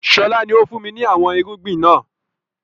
Sọlá ni ó fun mi ni àwọn irúgbìn náà